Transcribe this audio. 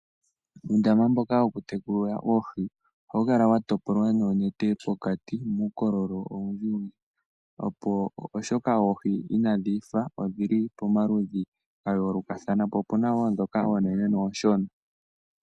Uundama mboka wokutekula oohi ohau kala wa topolwa noonete pokati muukololo oundji oshoka oohi inadhi faathana, odhi li pamaludhi ya yoolokathana, pu na wo oonene noonshona.